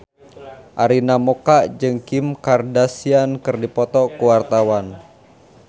Arina Mocca jeung Kim Kardashian keur dipoto ku wartawan